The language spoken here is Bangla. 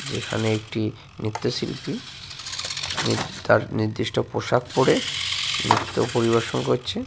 যেখানে একটি নৃত্যশিল্পী তার নির্দিষ্ট পোশাক পরে নৃত্য পরিবেশন করছে।